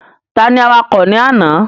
Ta ni awakọ̀ ní àná?